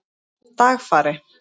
Dagfari